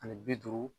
Ani bi duuru